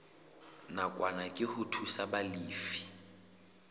nakwana ke ho thusa balefi